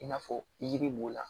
I n'a fɔ yiri b'o la